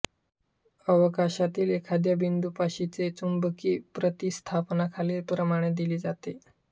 अवकाशातील एखाद्या बिंदूपाशीचे चुंबकी प्रतिस्थापना खालीलप्रमाणे दिली जाते